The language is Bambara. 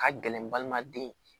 Ka gɛlɛn balima den ye